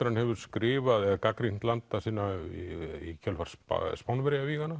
hann hefur skrifað eða gagnrýnt landa sína í kjölfar